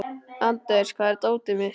Anders, hvar er dótið mitt?